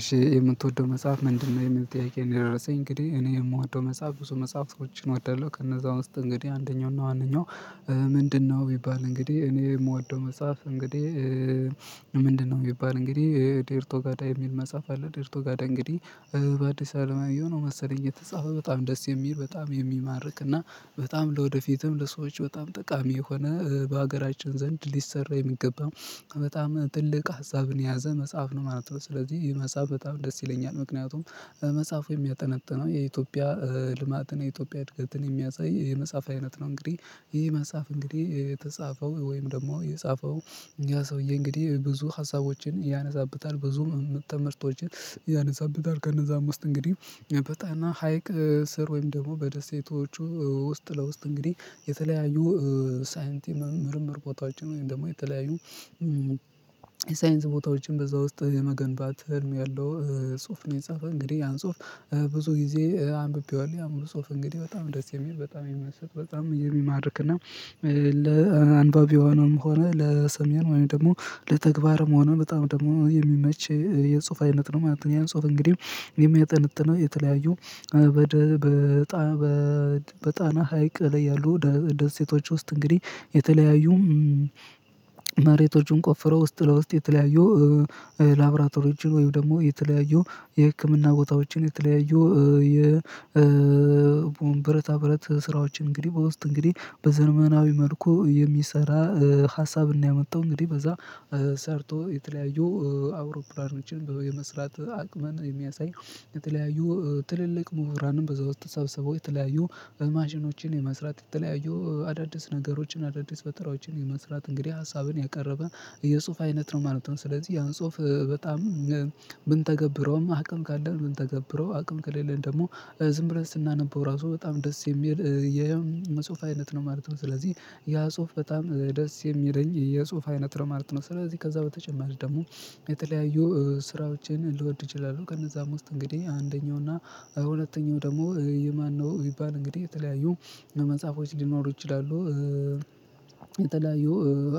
እሺ የምትወደው መጽሐፍ ምንድነው? የሚል ጥያቄ ነው የደረሰኝ እንግዲህ እኔ የምወደው መጽሐፍ ብዙ መፅሃፍቶችን እወዳለሁ ከነዛ ውስጥ እንግዲህ አንደኛውና ዋነኛው። ምንድነው ቢባል እንግዲህ እኔ የምወደው መጽሐፍ እንግዲህ ምንድነው? የሚባል እንግዲህ ዴርቶ ጋዳ የሚል መጽሐፍ አለ ዴርቶ ጋዳ እንግዲህ። በአዲስ አለማየሁ ነው መሰለኝ የተጻፈ በጣም ደስ የሚል በጣም የሚማርክ እና በጣም ለወደፊትም ለሰዎች በጣም ጠቃሚ የሆነ በሀገራችን ዘንድ ሊሰራ የሚገባ በጣም ትልቅ ሀሳብን የያዘ መጽሐፍ ነው ማለት ነው። ስለዚህ ይሄ መጽሐፍ በጣም ደስ ይለኛል ምክንያቱም መጽሐፉ የሚያጠነጥነው የኢትዮጵያ ልማትን የኢትዮጵያ እድገትን የሚያሳይ የመጽሐፍ አይነት ነው። እንግዲህ ይሄ መጽሐፍ እንግዲህ የተጻፈው ወይም ደግሞ የጻፈው ያ ሰውዬ እንግዲህ ብዙ ሀሳቦችን ያነሳብታል ብዙም የተምህርቶችን ያነሳብታል። ከነዛም ውስጥ እንግዲህ በጣና ሀይቅ ስር ወይም ደግሞ በደሴቶቹ ውስጥ ለውስጥ እንግዲህ የተለያዩ ሳይንቲ ምርምር ቦታዎችን ወይም ደግሞ የተለያዩ ሳይንስ ቦታዎችን በዛ ውስጥ የመገንባት ህልም ያለው ጽሁፍ ነው። የጻፈ እንግዲህ ያን ጽሁፍ ብዙ ጊዜ አንብቤዋለሁ ያም ፁህፍ እንግዲህ በጣም ደስ የሚል በጣም የሚመስል በጣም የሚማርክና ለአንባቢውም ሆነ ለሰሜን ወይም ደግሞ ለተግባርም ሆነ በጣም ደግሞ የሚመች የጽሁፍ አይነት ነው ማለት ነው። ያን ጽሁፍ እንግዲህ የሚያጠነጥነው የተለያዩ በጣና ሀይቅ ላይ ያሉ ደሴቶች ውስጥ እንግዲህ የተለያዩ መሬቶቹን ቆፍረው ውስጥ ለውስጥ የተለያዩ ላብራቶሪዎችን ወይም ደግሞ የተለያዩ የህክምና ቦታዎችን የተለያዩ የብረታ ብረት ስራዎችን እንግዲህ በውስጥ እንግዲህ በዘመናዊ መልኩ የሚሰራ ሀሳብን ነው ያመጣው። እንግዲህ በዛ ሰርቶ የተለያዩ አውሮፕላኖችን በመስራት አቅምን የሚያሳይ የተለያዩ ትልልቅ ምሁራንም በዛው አስተሳሰቦ የተለያዩ ማሽኖችን የመስራት የተለያዩ አዳዲስ ነገሮችን አዳዲስ ፈጠራዎችን የመስራት እንግዲህ ሀሳብን ያቀረበ የጽሁፍ አይነት ነው ማለት ነው። ስለዚህ ያው ጽሁፍ በጣም ምንተገብረውም አቅም ካለን ብንተገብረው አቅም ከሌለን ደግሞ ዝም ብለን ስናነበው ራሱ በጣም ደስ የሚል የመጽሁፍ አይነት ነው ማለት ነው። ስለዚህ ያ ጽሁፍ በጣም ደስ የሚለኝ የጽሁፍ አይነት ነው ማለት ነው። ስለዚህ ከዛ በተጨማሪ ደግሞ የተለያዩ ስራዎችን ልወድ እችላለሁ። ከነዛም ውስጥ እንግዲህ አንደኛው እና ሁለተኛው ደግሞ የማነው ቢባል እንግዲህ የተለያዩ መጽሐፎች ሊኖሩ ይችላሉ። የተለያዩ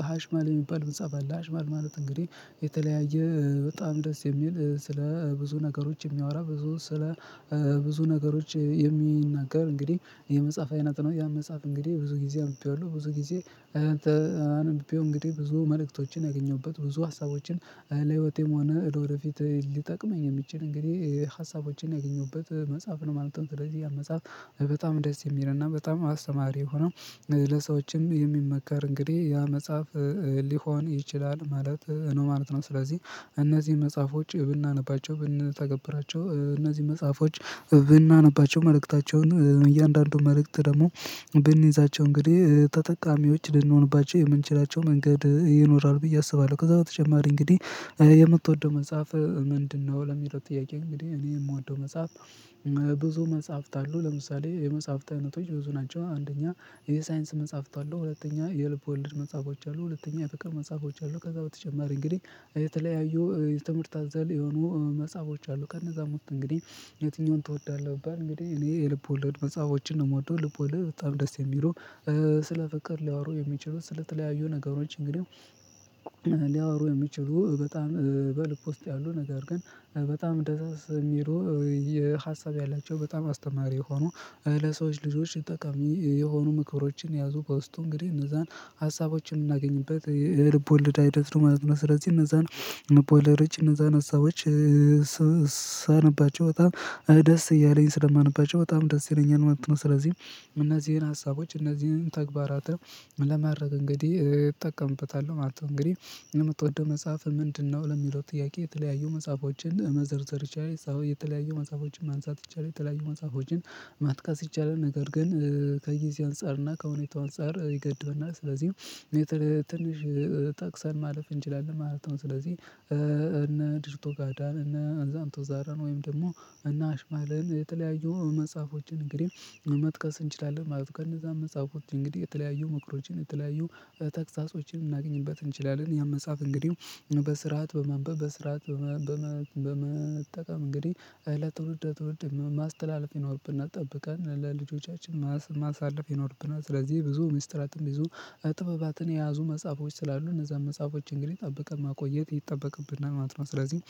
ሀሽማል የሚባል መንጻፍ አለ ሀሽማል ማለት እንግዲህ የተለያየ በጣም ደስ የሚል ስለ ብዙ ነገሮች የሚያወራ ብዙ ስለ ብዙ ነገሮች የሚናገር እንግዲህ የመጽሐፍ አይነት ነው። ያ መጽሐፍ እንግዲህ ብዙ ጊዜ አንብቤዋለሁ ብዙ ጊዜ አንብቤው እንግዲህ ብዙ መልእክቶችን ያገኘሁበት ብዙ ሀሳቦችን ለህይወቴም ሆነ ወደፊት ሊጠቅመኝ የሚችል እንግዲህ ሀሳቦችን ያገኘሁበት መጽሐፍ ለማለት ነው። ስለዚህ ያ መጽሐፍ በጣም ደስ የሚል እና በጣም አስተማሪ የሆነው ለሰዎችም የሚመከር እንግዲህ ያ መጽሐፍ ሊሆን ይችላል ማለት ነው ማለት ነው። ስለዚህ እነዚህን መጽሐፎች ብናነባቸው ብንተገብራቸው እነዚህ መጽሐፎች ብናነባቸው መልእክታቸውን እያንዳንዱን መልእክት ደግሞ ብንይዛቸው እንግዲህ ተጠቃሚዎች ልንሆንባቸው የምንችላቸው መንገድ ይኖራል። ብዬ አስባለሁ ከዛ በተጨማሪ እንግዲህ የምትወደው መጽሐፍ ምንድነው? ለሚለው ጥያቄ እንግዲህ እኔ የምወደው መጽሐፍ ብዙ መጽሐፍት አሉ ለምሳሌ የመጽሐፍት አይነቶች ብዙ ናቸው። አንደኛ የሳይንስ መጽሐፍት አለው ሁለተኛ የልብ ወልድ መጽሐፎች አሉ ሁለተኛ የፍቅር መጽሐፎች አሉ ከዛ በተጨማሪ እንግዲህ የተለያዩ ትምህርት አዛል የሆኑ መጽሐፎች አሉ። ከነዛ ውስጥ እንግዲህ የትኛውን ትወዳለህ? እንግዲህ እኔ የልብ ወለድ መጽሐፎችን ነው የምወደው። ልብ ወለድ በጣም ደስ የሚለው ስለ ፍቅር ሊያወሩ የሚችሉት ስለተለያዩ ነገሮች እንግዲህ ሊያወሩ የሚችሉ በጣም በልብ ውስጥ ያሉ ነገር ግን በጣም ደስ የሚለው የሀሳብ ያላቸው በጣም አስተማሪ የሆኑ ለሰዎች ልጆች ጠቃሚ የሆኑ ምክብሮችን ያዙ በውስጡ እንግዲህ እነዛን ሀሳቦችን የምናገኝበት የልብ ወለድ አይደለም። ስለዚህ እነዛን ልብ ወለዶች እነዛን ሀሳቦች ሳነባቸው በጣም ደስ እያለኝ ስለማነባቸው በጣም ደስ ይለኛልማለት ነው። ስለዚህ እነዚህን ሀሳቦች እነዚህን ተግባራትን ለማረጋገጤ እጠቀምበታለሁ ማለት ነው። እንግዲህ የምትወደው መጽሐፍ ምንድነው? ለሚለው ጥያቄ የተለያዩ መጽሐፎችን መዘርዘር ቻይ ሰው የተለያዩ መጽሐፎችን ማንሳት ይቻላል የተለያዩ መጽሐፎችን መጥቀስ ይቻላል ነገር ግን ከዚህ አንፃር እና ከሁኔታው አንፃር ይገድብና ስለዚህ ትንሽ ጠቅሰን ማለፍ እንችላለን ማለት ነው። ስለዚህ ዴርቶ ጋዳን እነ አንዛምቶ ዛረን ወይም ደግሞ እነ አሽማለን የተለያዩ መጽሐፎችን እንግዲህ መጥቀስ እንችላለን ማለት ነው። ከነዛ መጽሐፍ ውስጥ እንግዲህ የተለያዩ ምክሮችን የተለያዩ ተግሳጾችን ልናገኝበት እንችላለን። ያን መጽሐፍ እንግዲህ በስርዓት በማንበብ በስርዓት በመጠቀም እንግዲህ ለትውልድ ትውልድ ማስተላለፍ ይኖርብናል ጠብቀን ለልጆቻችን ማሳለፍ ይኖርብናል። ስለዚህ ብዙ ሚስጥራትም ብዙ ጥበባትን የያዙ መጽሐፎች ስላሉ እነዛን መጽሐፎች እንግዲህ ጠብቀን ማቆየት ይጠበቅብናል። ማት ነው ስለዚህ